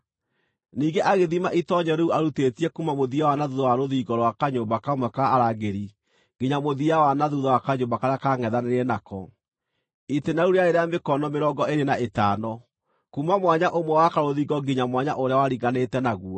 Ningĩ agĩthima itoonyero rĩu arutĩtie kuuma mũthia wa na thuutha wa rũthingo rwa kanyũmba kamwe ka arangĩri nginya mũthia wa na thuutha wa kanyũmba karĩa kaangʼethanĩire nako; itĩĩna rĩu rĩarĩ rĩa mĩkono mĩrongo ĩĩrĩ na ĩtano kuuma mwanya ũmwe wa karũthingo nginya mwanya ũrĩa waringanĩte naguo.